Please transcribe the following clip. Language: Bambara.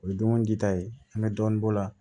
O ye dumuni di ta ye an bɛ dɔɔnin bɔ o la